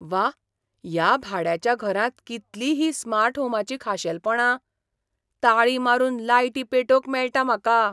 व्वा, ह्या भाड्याच्या घरांत कितलीं हीं स्मार्ट होमाचीं खाशेलपणां! ताळी मारून लायटी पेटोवंक मेळटात म्हाका!